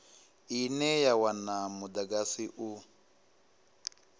ine ya wana mudagasi u